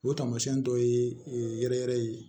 O tamasiyɛn dɔ ye yɛrɛ yɛrɛ ye